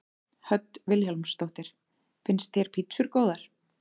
Hödd Vilhjálmsdóttir: Finnst þér pítsur góðar?